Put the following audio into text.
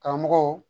Karamɔgɔw